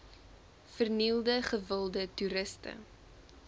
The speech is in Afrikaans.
vernielde gewilde toeriste